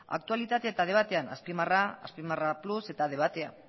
aktualitate eta debatean azpimarra azpimarra plus eta debatea